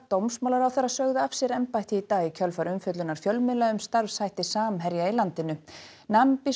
dómsmálaráðherra sögðu af sér embætti í dag í kjölfar umfjöllunar fjölmiðla um starfshætti Samherja í landinu